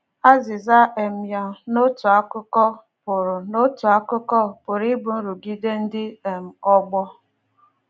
Azịza um ya, n’otu akụkụ, pụrụ n’otu akụkụ, pụrụ ịbụ nrụgide ndị um ọgbọ